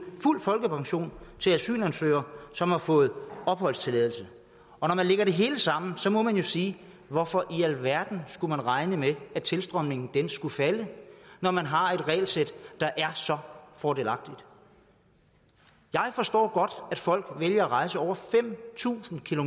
fuld folkepension til asylansøgere som har fået opholdstilladelse og når man lægger det hele sammen må man jo sige hvorfor i alverden skulle man regne med at tilstrømningen skulle falde når man har et regelsæt der er så fordelagtigt jeg forstår godt at folk vælger at rejse over fem tusind